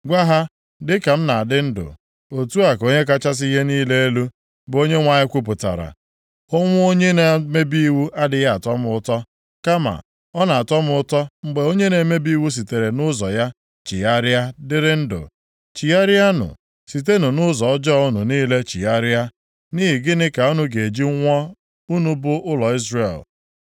Gwa ha, ‘Dịka m na-adị ndụ, otu a ka Onye kachasị ihe niile elu, bụ Onyenwe anyị kwupụtara, ọnwụ onye na-emebi iwu adịghị atọ m ụtọ, kama ọ na-atọ m ụtọ mgbe onye na-emebi iwu sitere nʼụzọ + 33:11 Ụzọ nʼebe a, na-ekwu maka mmebi iwu ya chegharịa dịrị ndụ. Chigharịanụ, sitenụ nʼụzọ ọjọọ + 33:11 Maọbụ, mmehie unu unu niile chigharịa. Nʼihi gịnị ka unu ga-eji nwụọ, unu bụ ụlọ Izrel?’